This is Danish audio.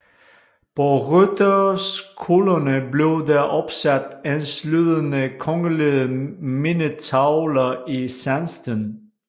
På rytterskolerne blev der opsat enslydende kongelige mindetavler i sandsten